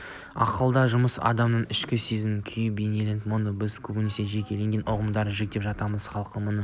ақылдың жұмысы адамның ішкі сезім күйін бейнелейді мұны біз көбінесе жекелеген ұғымдарға жіктеп жатамыз халықта мұны